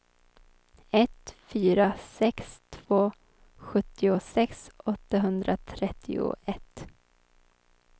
ett fyra sex två sjuttiosex åttahundratrettioett